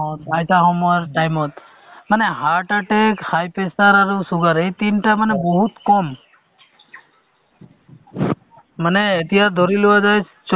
কে লৈ পেলাই তেওঁলোকে যদি আ কিছুমান ভিতৰুৱা গাঁওবোৰত এইবোৰ সজাগতা সভা যদি মাহে মাহে এটা কৰি পাতে তেতিয়াহ'লে নিশ্চয় ধৰক উম মানে মানুহখিনি বুজি পাব এইটো বিষয় হয়নে নহয়